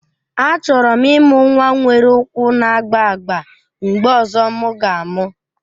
Achọrọ m ịmụ nwa nwere ụkwụ na-agba agba mgbe ọzọ m ga-amụ